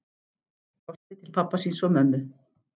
Brosti til pabba síns og mömmu.